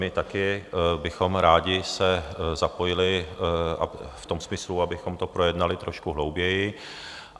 My taky bychom rádi se zapojili v tom smyslu, abychom to projednali trošku hlouběji.